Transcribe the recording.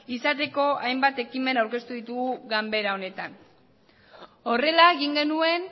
izateko hainbat ekimen aurkeztu ditugu ganbera honetan horrela egin genuen